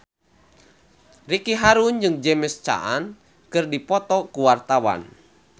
Ricky Harun jeung James Caan keur dipoto ku wartawan